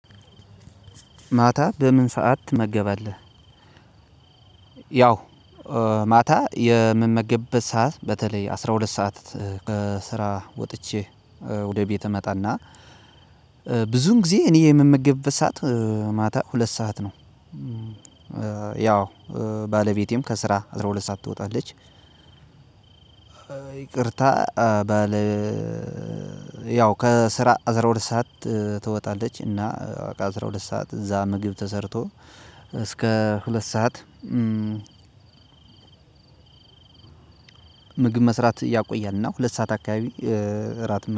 ማታ በምን ሰዓት ትመገባለህ? ያው ማታ የምመገብበት ሰዓት በተለይ አስራ ሁለት ሰዓት ስራ ወጥቼ ወደ እቤት እመጣ እና ብዙን ጊዜ እኔ የምመገብበት ሰዓት ማታ ሁለት ሰዓት ነው። ያው ባለቤቴም ከስራ አስራ ሁለት ሰዓት ትወጣለች። ይቅርታ ባለ ያው ከስራ አስራ ሁለት ሰዓት ትወጣለች እና አስራ ሁለት ሰዓት እዛ ምግብ ተሰርቶ እስከ ሁለት ሰዓት። ምግብ መስራት ያቆያል እና ሁለት ሰዓት አካባቢ እራት